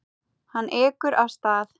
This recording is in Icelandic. Hann ekur af stað.